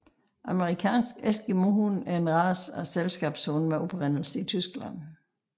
Amerikansk eskimohund er en race af selskabshund med oprindelse i Tyskland